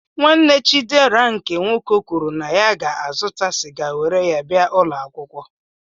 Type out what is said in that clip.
Nwanne Chidera nke nwoke kwuru na ya ga-azụta sịga were ya bia ụlọakwụkwọ.